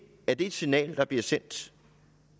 et signal der bliver sendt